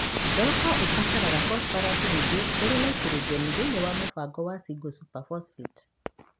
Thoroko ĩbataraga fosforasi nyingĩ kũri naitrogeni thĩini wa mũbango wa single super phosphate